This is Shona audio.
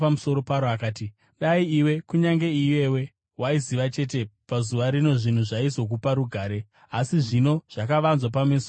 akati, “Dai iwe, kunyange iyewe, waiziva chete pazuva rino zvinhu zvaizokupa rugare, asi zvino zvakavanzwa pameso ako.